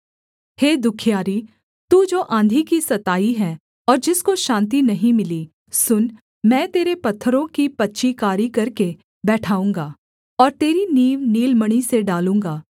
हे दुःखियारी तू जो आँधी की सताई है और जिसको शान्ति नहीं मिली सुन मैं तेरे पत्थरों की पच्चीकारी करके बैठाऊँगा और तेरी नींव नीलमणि से डालूँगा